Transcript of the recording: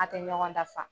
An tɛ ɲɔgɔn dafa